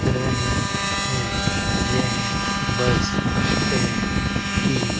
रही हैं यह बस स्टैंड की--